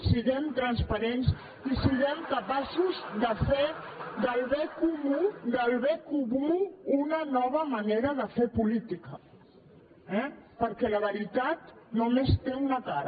siguem transparents i siguem capaços de fer del bé comú una nova manera de fer política eh perquè la veritat només té una cara